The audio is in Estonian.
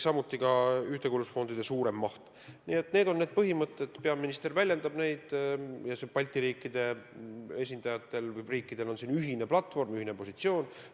Need on meie põhimõtted, peaminister väljendab neid ja Balti riikidel on selles osas ühine platvorm ja ühine positsioon.